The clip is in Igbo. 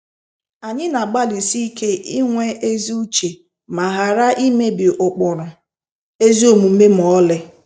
Anyị n'agbalịsi ike inwe ezi uche ma ghara imebi ụkpụrụ ezi omume ma ọlị.